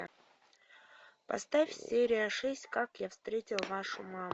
поставь серия шесть как я встретил вашу маму